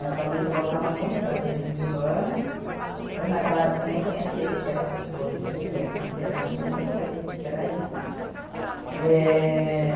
Eu sabia que eu gostava muito das ciências humanas, mas naquela época eu nem conhecia que que era sociologia, que que era, nem nem sabia que que era isso, ehh